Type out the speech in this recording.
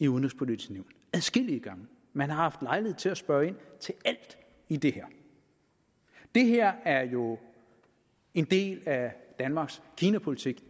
udenrigspolitiske nævn adskillige gange man har haft lejlighed til at spørge ind til alt i det her det her er jo en del af danmarks kinapolitik